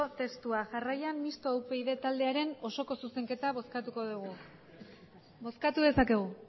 testua jarraian mistoa upyd taldearen osoko zuzenketa bozkatuko dugu bozkatu dezakegu